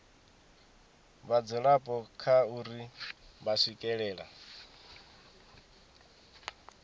vhadzulapo kha uri vha swikelela